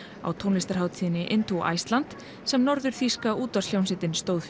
á tónlistarhátíðinni Iceland sem útvarpshljómsveitin stóð